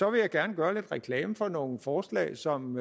vil jeg gerne gøre lidt reklame for nogle forslag som